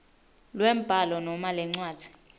lwembhalo noma lencwadzi